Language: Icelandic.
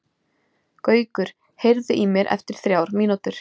Gaukur, heyrðu í mér eftir þrjár mínútur.